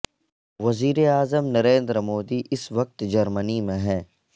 وزیر اعظم نریندر مودی اس وقت جرمنی میں ہیں